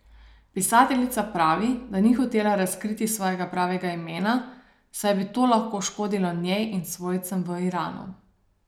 Pisateljica pravi, da ni hotela razkriti svojega pravega imena, saj bi to lahko škodilo njej in svojcem v Iranu.